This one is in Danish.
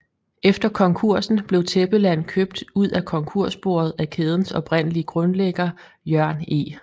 Efter konkursen blev Tæppeland købt ud af konkursboet af kædens oprindelige grundlægger Jørn E